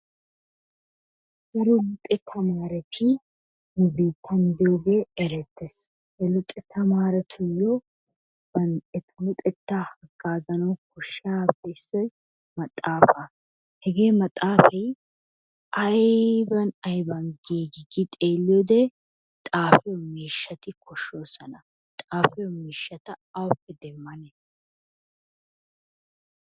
Daroo luxettaa maratti nu bittani de'iyoge erettes, luxettaa marayayo ettaa luxettaa hagaziyogappe issoy maxafaa, he mfaxaay ayban ayban gigi gidi xeliyode, xafiyo mishati koshosonnaa xafiyo mishata awuppe demanne?